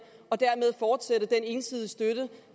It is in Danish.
og dermed fortsætte den ensidige støtte